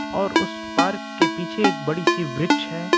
और उस पार्क के पीछे एक बड़ी सी वृक्ष है।